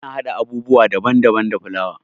Ana haɗa abubuwa daban daban da fulawa.